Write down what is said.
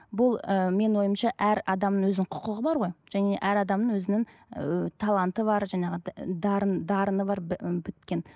бұл ы менің ойымша әр адамның өзінің құқығы бар ғой және әр адамның өзінің ы таланты бар жаңағыдай дарын дарыны бар біткен